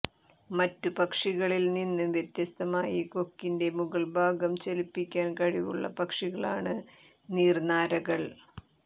മറ്റു പക്ഷികളിൽ നിന്ന് വ്യത്യസ്തമായി കൊക്കിന്റെ മുകൾഭാഗം ചലിപ്പിക്കാൻ കഴിവുള്ള പക്ഷികളാണ് നീർനാരകൾ